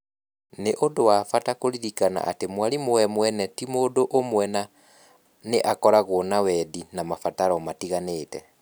Nĩ ũndũ wa bata kũririkana atĩ mwarimũ we mwene ti mũndũ ũmwe na nĩ akoragwo na wendi na mabataro matiganĩte.